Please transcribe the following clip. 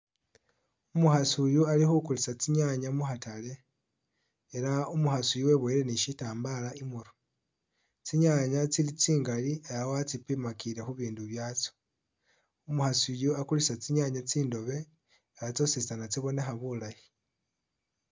Umukhasi uyu ali khukulisa tsinyanye mukhatale ela umukhasi uyu weboyile ni syitambaala imurwe. Tsinyanya tsili tsingali ela watsipimakile khu bindu byatsyo. Umukhasi uyu akulisa tsinyanya tsindobe nga tsyositsana tsibonekha bulayi.